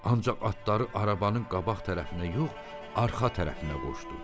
Ancaq atları arabanın qabaq tərəfinə yox, arxa tərəfinə qoşdu.